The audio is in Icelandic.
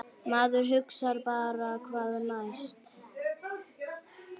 Maður hugsar bara hvað næst?!